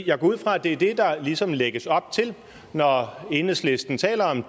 jeg går ud fra at det er det der ligesom lægges op til når enhedslisten taler